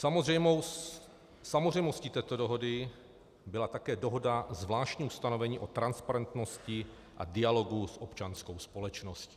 Samozřejmostí této dohody byla také dohoda, zvláštní ustanovení o transparentnosti a dialogu s občanskou společností.